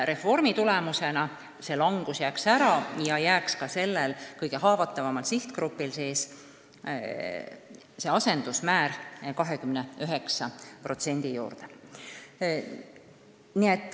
Reformi tulemusena see langus jääks ära ja ka sellel kõige haavatavamal sihtgrupil jääks see 29%.